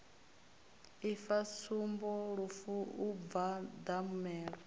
ifa tsumbo lufu u mbwandamela